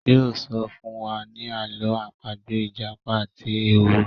yóò sọ fún wa ní Àló̩ àpagbè ìjàpá àti ehoro.